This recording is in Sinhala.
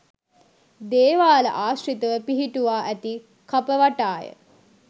දේවාල ආශ්‍රිතව පිහිටුවා ඇති කප වටාය.